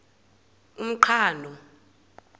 umqhano